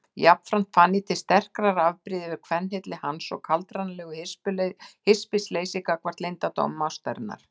Jafnframt fann ég til sterkrar afbrýði yfir kvenhylli hans og kaldranalegu hispursleysi gagnvart leyndardómum ástarinnar.